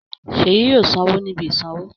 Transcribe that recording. Ṣèyí yóò sanwó ní ibi ìsanwó.